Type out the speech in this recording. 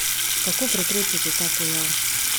Kako preprečiti ta pojav?